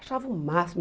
Achava o máximo.